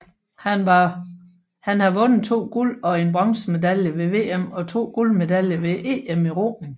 Han har vundet to guld og en bronzemedaljer ved VM og to guldmedaljer ved EM i roning